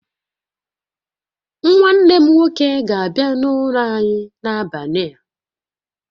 Nwanne m nwoke ga-abia n'ụlọ anyị n'abalị a